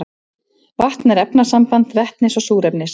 vatn er efnasamband vetnis og súrefnis